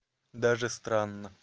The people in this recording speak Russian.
даже странно